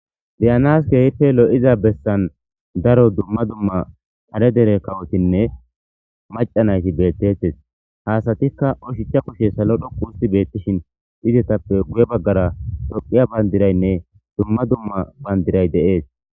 Be'anas kehippe lo'za bessan daaro dumma dumma kaare dere kawotinne macanayti bettetes ha asatika ushacha kushshe dhoqqu othi betishin izetappe guye baggara tophphiya banddirayne dumma dumma bandiray bettes.